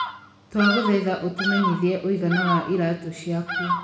Twagũthaitha ũtũmenyithie ũigana wa iraatũ ciaku.